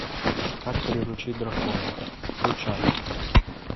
как приручить дракона включай